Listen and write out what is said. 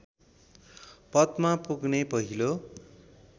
पदमा पुग्ने पहिलो